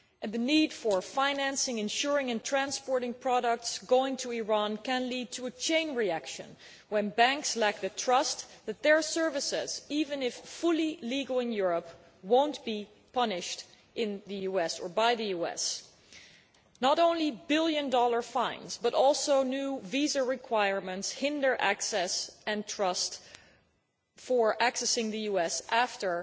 The need for financing, insuring and transporting products going to Iran can lead to a chain reaction where banks do not trust that their services, even if fully legal in Europe, will not be punished in the US or by the US not only billion dollar fines, but also new visa requirements that hinder access, or undermine trust in being able to access, the US after